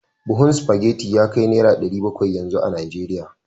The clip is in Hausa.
Buhun spaghetti ya kai naira dari bakwai yanzu a Najeriya